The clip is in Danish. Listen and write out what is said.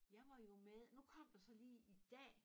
Jeg var jo med nu kom der så lige i dag